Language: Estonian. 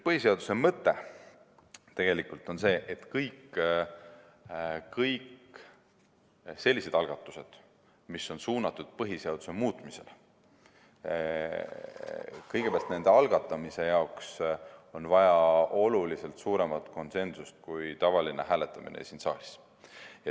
Põhiseaduse mõte on tegelikult see, et kõigi selliste algatuste jaoks, mis on suunatud põhiseaduse muutmisele, on vaja oluliselt suuremat konsensust kui tavaline hääletamine siin saalis.